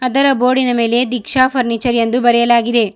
ಅದರ ಬೋರ್ಡಿನ ಮೇಲೆ ದೀಕ್ಷಾ ಫರ್ನಿಚರ್ ಎಂದು ಬರೆಯಲಾಗಿದೆ.